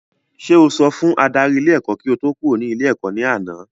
Sé o sọ fún adarí ilé ẹ́kọ́ kí o tó kúrò ní ilé ẹ̀kọ́ ní àná?